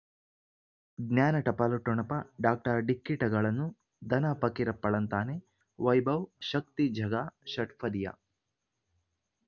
ಜ್ಞಾನ ಟಪಾಲು ಠೊಣಪ ಡಾಕ್ಟರ್ ಢಿಕ್ಕಿ ಟಗಳನು ಧನ ಫಕೀರಪ್ಪ ಳಂತಾನೆ ವೈಭವ್ ಶಕ್ತಿ ಝಗಾ ಷಟ್ಪದಿಯ